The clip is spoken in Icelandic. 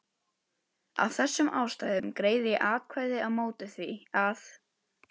Af þessum ástæðum greiði ég atkvæði á móti því, að